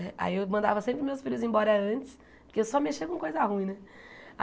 Aí eu mandava sempre meus filhos embora antes, porque eu só mexia com coisa ruim, né?